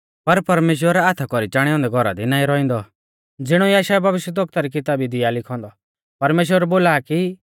पर परमेश्‍वर हाथा कौरी चाणै औन्दै घौरा दी नाईं रौइंदौ ज़िणौ यशायाह भविष्यवक्ता री किताबी दी आ लिखौ औन्दौ